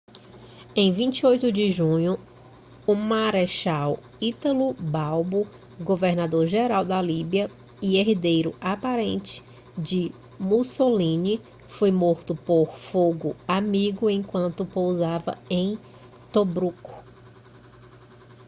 em 28 de junho o marechal italo balbo governador-geral da líbia e herdeiro aparente de mussolini foi morto por fogo amigo enquanto pousava em tobruk